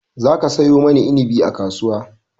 Za ka sayo mani inabi a kasuwa!